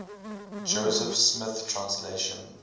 joseph smith translation